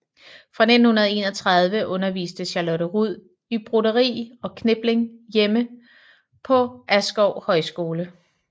Fra 1931 underviste Charlotte Rud i broderi og knipling hjemme på Askov Højskole